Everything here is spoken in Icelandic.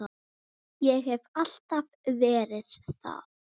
Ég hef alltaf verið það.